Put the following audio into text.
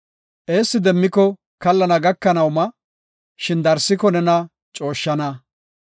Eessi demmiko kallana gakanaw ma; shin darsiko nena cooshshana.